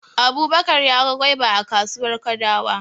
Abubakar ya ga goba a kasuwar Kadawa.